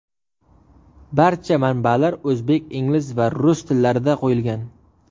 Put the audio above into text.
Barcha manbalar o‘zbek, ingliz va rus tillarida qo‘yilgan.